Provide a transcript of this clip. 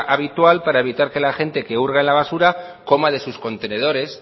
habitual para evitar que la gente que urge en la basura coma de sus contenedores